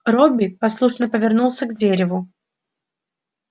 робби послушно повернулся к дереву